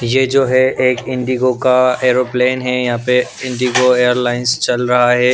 ये जो है एक इंडिगो का एरोप्लेन है यहाँ पे इंडिगो एयरलाइंस चल रहा है।